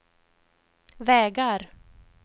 vägar